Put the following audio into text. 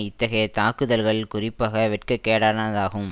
இத்தகைய தாக்குதல்கள் குறிப்பாக வெட்கக்கேடானதாகும்